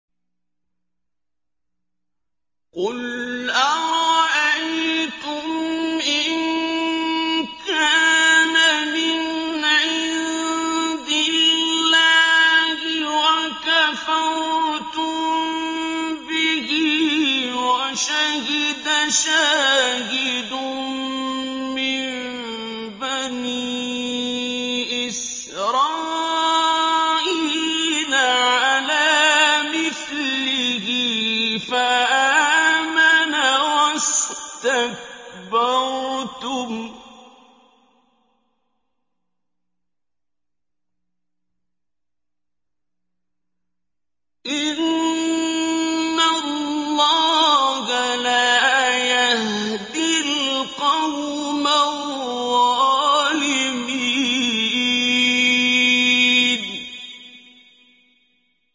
قُلْ أَرَأَيْتُمْ إِن كَانَ مِنْ عِندِ اللَّهِ وَكَفَرْتُم بِهِ وَشَهِدَ شَاهِدٌ مِّن بَنِي إِسْرَائِيلَ عَلَىٰ مِثْلِهِ فَآمَنَ وَاسْتَكْبَرْتُمْ ۖ إِنَّ اللَّهَ لَا يَهْدِي الْقَوْمَ الظَّالِمِينَ